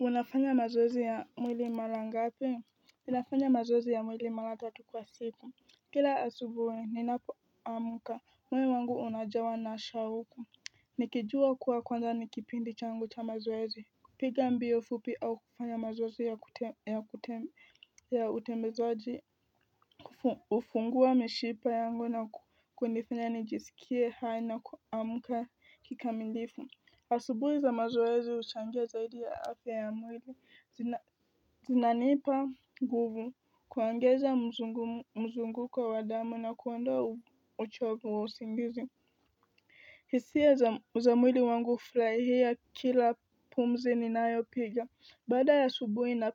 Unafanya mazoezi ya mwili mara ngapi? Ninafanya mazoezi ya mwili mara tatu kwa siku. Kila asubuhi ninapoamka. Moyo wangu unajawa na shauku nikijua kuwa kwanza ni kipindi changu cha mazoezi. Piga mbio fupi au kufanya mazoezi ya utembezaji hufungua mishipa yangu na kunifanya nijisikie hai na kuamka kikamilifu. Asubuhi za mazoezi huchangia zaidi ya afya ya mwili, zinanipa nguvu, kuongeza mzunguko wa damu na kuondoa uchovu wa usingizi. Hisia za mwili wangu hufurahia kila pumzi ninayopiga. Baada ya asubuhi na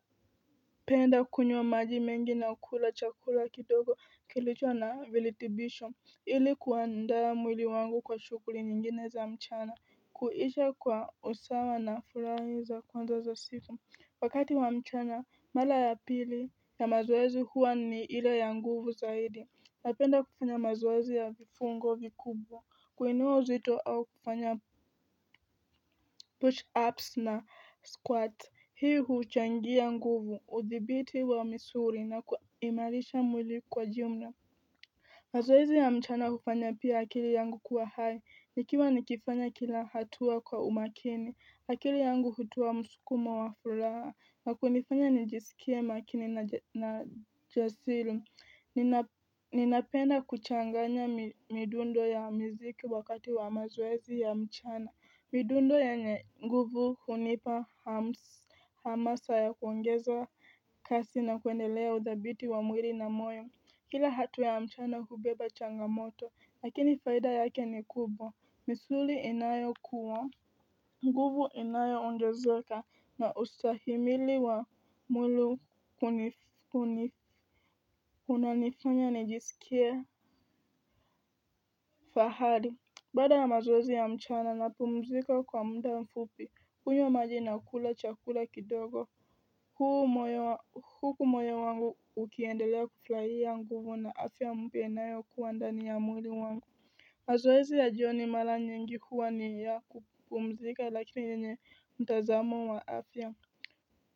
penda kunywa maji mengi na kula chakula kidogo kilicho na virutubisho ili kuandaa mwili wangu kwa shughuli nyingine za mchana. Kuisha kwa usawa na furaha za kwanza za siku Wakati wa mchana mara ya pili ya mazoezi huwa ni ila ya nguvu zaidi Napenda kufanya mazoezi ya vifungo vikubwa. Kuinua uzito au kufanya push ups na squats. Hii huchangia nguvu, udhibiti wa misuli na kuimarisha mwili kwa jumla. Mazoezi ya mchana hufanya pia akili yangu kuwa hai. Nikiwa nikifanya kila hatuwa kwa umakini, akili yangu hutoa msukumo wa furaha, na kunifanya nijisikie makini na jasiri. Ninapenda kuchanganya midundo ya miziki wakati wa maoezi ya mchana. Midundo yenye nguvu hunipa hamasa ya kuongeza kasi na kuendelea udhabiti wa mwili na moyo. Kila hatua ya mchana hubeba changamoto. Lakini faida yake ni kubwa. Misuli inayokuwa, nguvu inayoongezeka na ustahimili wa mwili unanifanya nijisikie fahari. Baada ya mazoezi ya mchana napumzika kwa muda mfupi. Hunywa maji na kula chakula kidogo. Huu moyo, huku moyo wangu ukiendelea kufurahia nguvu na afya mpya inayokuwa ndani ya mwili wangu. Mazoezi ya jioni mara nyingi huwa ni ya kupumzika lakini yenye mtazamo wa afya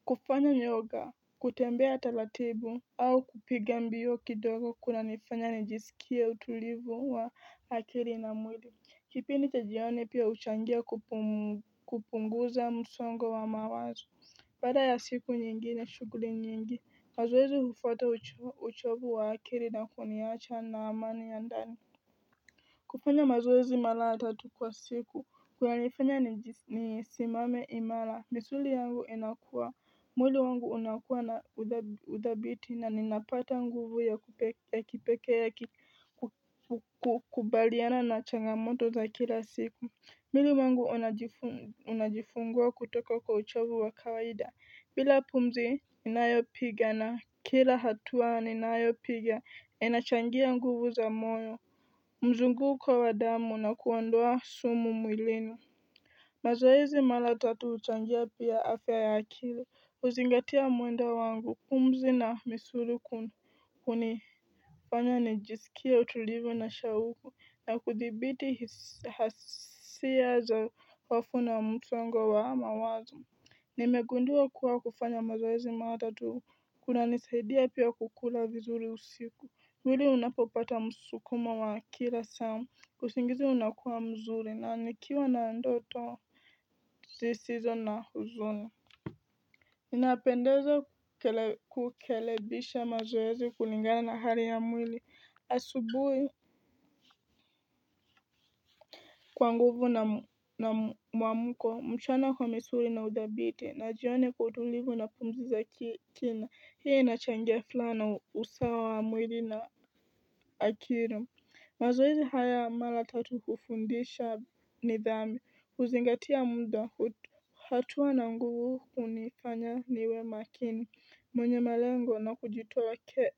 kufanya yoga, kutembea taratibu au kupiga mbio kidogo kunanifanya nijisikie utulivu wa akili na mwili. Kipindi cha jioni pia huchangia kupunguza msongo wa mawazo. Baada ya siku nyingine shughuli nyingi, mazoezi hufuata uchovu wa akili na kuniacha na amani ya ndani kufanya mazoezi mara tatu kwa siku kunanifanya nisimame imara. Misuli yangu inakuwa, mwili wangu unakuwa na udhabiti na ninapata nguvu ya kipekee ya kukubaliana na changamoto za kila siku. Mwili wangu unajifungua kutoka kwa uchovu wa kawaida, bila pumzi ninayopiga na kila hatua ninayopiga inachangia nguvu za moyo. Mzunguko wa damu na kuondoa sumu mwilini. Mazoezi mara tatu huchangia pia afya ya akili, huzingatia mwendo wangu, pumzi na misuli hunifanya nijisikie utulivu na shauku na kuthibiti hisia za hofu na msongo wa mawazo. Nimegundua kuwa kufanya mazoezi mara tatu kunanisaidia pia kukula vizuri usiku. Mwili unapopata msukumo wa kila saa, usingizi unakuwa mzuri na nikiwa na ndoto zisizo na huzuni. Inapendeza kukelebisha mazoezi kulingana na hali ya mwili, asubuhi kwa nguvu na na mwamko. Mchana kwa misuli na udhabiti, na jioni kwa utulivu na pumzi za kina, hiyo inachangia furaha na usawa wa mwili na akili. Mazoezi haya ya mara tatu hufundisha nidhamu huzingatia muda. Hatua na nguvu hunifanya niwe makini, mwenye malengo na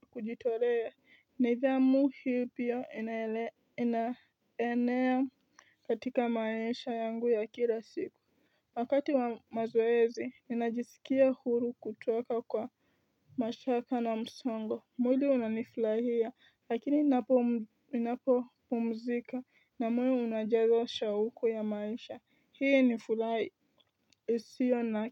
kujitolea. Nidhamu hii pia inaenea katika maisha yangu ya kila siku. Wakati wa mazoezi ninajisikia huru kutoka kwa mashaka na msongo. Mwili unanifurahia, lakini ninapopumzika na mwili unajawa shauku ya maisha. Hii ni furaha isiyo na.